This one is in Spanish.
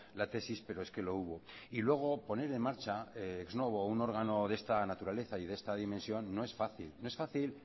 la tesis pero es que lo hubo y luego poner en marcha ex novo un órgano de esta naturaleza y de esta dimensión no es fácil no es fácil